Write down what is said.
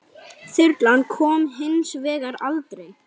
Þyrlan kom hins vegar aldrei.